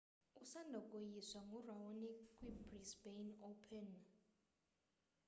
usanda koyiswa nguraonic kwibrisbane open